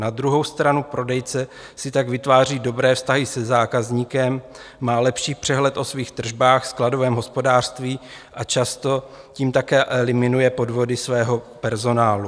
Na druhou stranu prodejce si tak vytváří dobré vztahy se zákazníkem, má lepší přehled o svých tržbách, skladovém hospodářství a často tím také eliminuje podvody svého personálu.